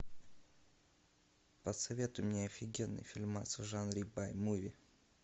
посоветуй мне офигенный фильмас в жанре бай муви